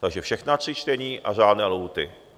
Takže všechna tři čtení a řádné lhůty.